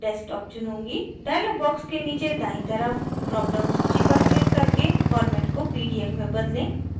dialog box के नीचे दायीं तरफ dropdown सूची पर क्लिक करके format को pdf में बदलें